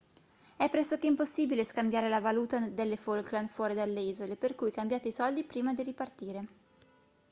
è pressoché impossibile scambiare la valuta delle falkland fuori dalle isole per cui cambiate i soldi prima di ripartire